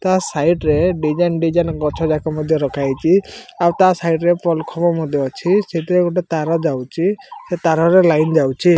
ତା ସାଇଡି ରେ ଡିଜାଇନ୍ ଡିଜାଇନ୍ ଗଛ ଯାକମଧ୍ୟ ରଖାଯାଇଛି ଆଉ ତା ସାଇଡି ରେ ପୋଲ କୁମ୍ବ ମଧ୍ୟ ଅଛି ସେଇଥିରେ ଗୋଟିଏ ତାର ଯାଇଛି ସେ ତଥା ରେ ଲାଇଟ୍ ଯାଉଛି।